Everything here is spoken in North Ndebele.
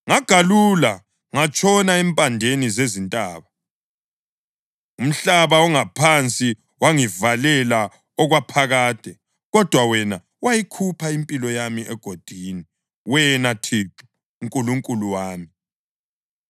Ngagalula ngatshona empandeni zezintaba; umhlaba ongaphansi wangivalela okwaphakade. Kodwa wena wayikhupha impilo yami egodini, wena Thixo, Nkulunkulu wami.